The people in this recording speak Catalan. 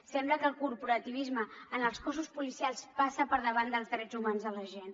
sembla que el corporativisme en els cossos policials passa per davant dels drets humans de la gent